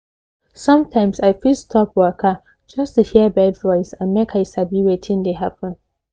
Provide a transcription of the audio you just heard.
sometimes i fit stop waka just to hear bird voice and make i sabi wetin dey happen